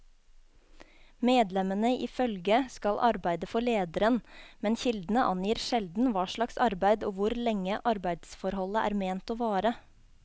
Medlemmene i følget skal arbeide for lederen, men kildene angir sjelden hva slags arbeid og hvor lenge arbeidsforholdet er ment å vare.